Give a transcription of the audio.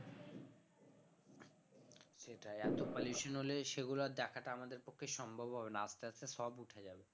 সেটাই এত pollution হলে সেগুলো আর দেখাটা আমাদের পক্ষে সম্ভব হবে না আস্তে আস্তে সব উঠে যাবে